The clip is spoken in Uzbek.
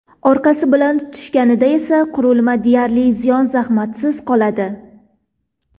Orqasi bilan tushganida esa qurilma deyarli ziyon-zahmatsiz qoladi.